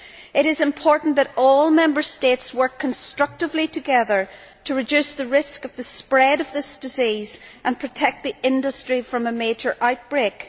It is important that all Member States work constructively together to reduce the risk of the spread of this disease and protect the industry from a major outbreak.